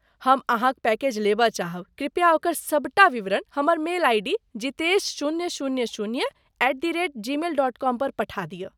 हम अहाँक पैकेज लेबय चाहब ,कृपया ओकर सबटा विवरण हमर मेल आइ डी जितेशशून्य शून्य शून्य at the rate Gmail dot com पर पठा दिअ।